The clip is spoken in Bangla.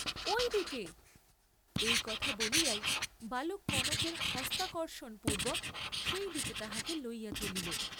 ঐ দিকে, এই কথা বলিয়াই বালক কনকের হস্তাকর্ষণ পূর্ব্বক সেই দিকে তাহাকে লইয়া চলিল।